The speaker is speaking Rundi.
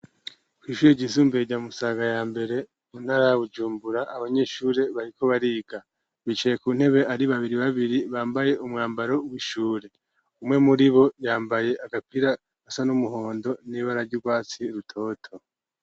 Kw'ishure ryisumbuye rya Musaga ya mbere mu ntara ya Bujumbura, abanyeshure bariko bariga. Bicaye ku ntebe ari babiri babiri bambaye umwambaro w'ishure. Umwe muri bo yambaye agapira gasa n'umuhondo n'ibara rw'ubwatsi rutoto.